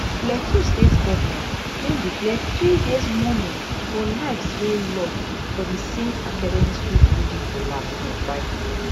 plateau state government don declare three days mourning for lives wey lost for di saint academy school building collapse on friday